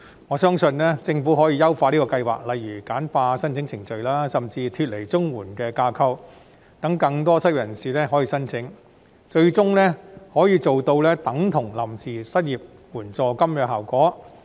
我相信，政府可以優化計劃，例如簡化申請程序，甚至將之脫離綜援的架構，讓更多失業人士可以申請，最終可以做到等同臨時失業援助金的效果。